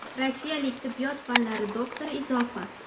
Rossiyalik tibbiyot fanlari doktori izohi.